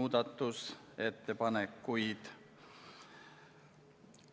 muudatusettepanekuid.